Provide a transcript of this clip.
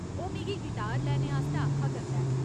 ओह् मिगी गिटार लैने आस्तै आखा करदा ऐ।